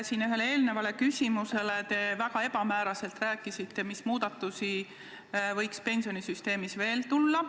Ühele eelmisele küsimusele vastates te väga ebamääraselt ütlesite, mis muudatusi võiks pensionisüsteemis veel tulla.